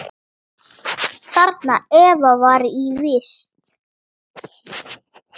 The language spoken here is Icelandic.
Þarna Eva var í vist.